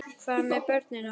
Hvað með börnin okkar?